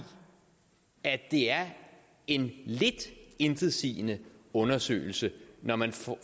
at det er en lidt intetsigende undersøgelse når man får